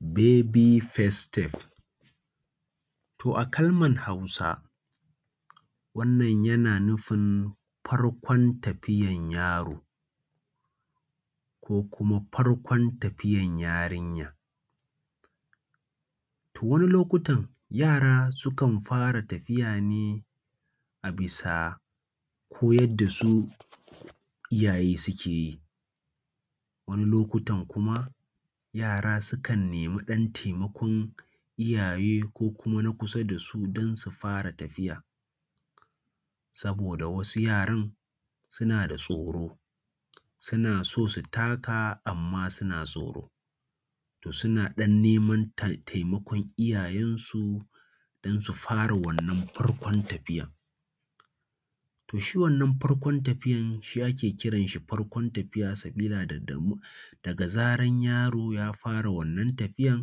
Baby first step. To a kalmar Hausa wannan yana nufin farkon tafiyan yaro ko kuma farkon tafiyan yarinya. To wani lokutan yara sukan fara tafiya ne a bisa koyad da su iyaye suke yi wani lokutan kuma yara sukan nemi ɗan taimakon iyaye ko na kusa da su don su fara tafiya. Saboda wasu yaran suna da tsoro suna so su taka amma suna tsoro suna ɗan neman tai taimakon iyayensu don su fara wannan farkon tafiyan. To shi wannan farkon tafiyan shi ake kiranshi farkon tafiya sabila da mu daga zaran yaro ya fara wannan tafiya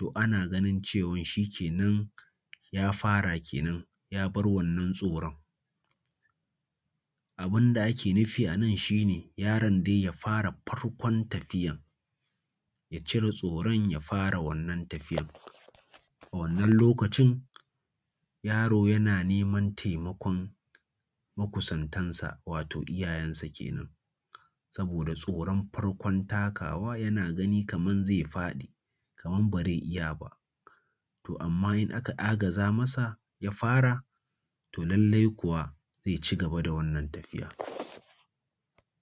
to ana ganin shikenan ya fara kenan ya bar wannan tsoron. Abinda ake nufi anan shi ne, yaron dai ya fara farkon tafiyan, ya cire tsoron ya fara wannan tafiyan. A wannan lokacin yaro yana neman taimakon makusantansa, wato iyayensa kenan. Saboda tsoron farkon takawa yana gani kaman zai faɗi, kaman ba zai iya ba, to amma in aka agaza masa ya fara, to lallai kuwa zai cigaba da wannan tafiya.